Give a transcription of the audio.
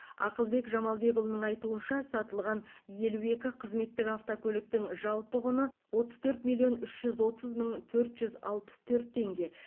ақылбек жамалбекұлының айтуынша сатылған елу екі қызметтік автокөліктің жалпы құны отыз төрт миллион үш жүз отыз мың төрт жүз алпыс төрт теңге